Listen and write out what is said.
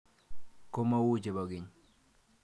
Ko mau che po keny.